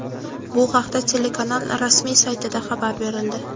Bu haqda telekanal rasmiy saytida xabar berildi.